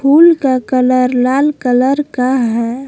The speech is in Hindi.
फूल का कलर लाल कलर का है।